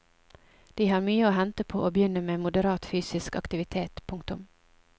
De har mye å hente på å begynne med moderat fysisk aktivitet. punktum